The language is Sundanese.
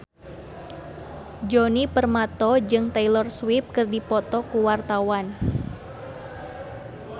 Djoni Permato jeung Taylor Swift keur dipoto ku wartawan